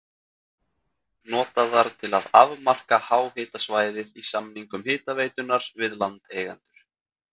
notaðar til að afmarka háhitasvæðið í samningum hitaveitunnar við landeigendur.